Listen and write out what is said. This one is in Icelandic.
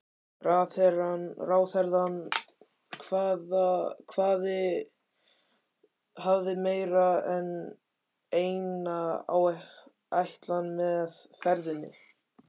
Ráðherrann hafði meira en eina ætlan með ferðinni.